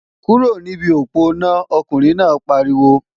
Kúrò níbi òponá, ọkùnrin náà pariwo!